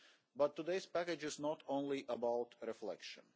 But today's package is not only about reflection.